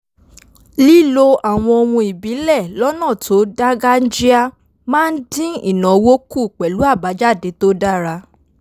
lílo àwọn ohun ìbílẹ̀ lọ́nà tó dáńgájíá máa ń dín ìnáwó kù pẹ̀lú àbájáde tó dára